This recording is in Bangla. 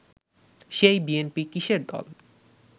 সেই বিএনপি কিসের দল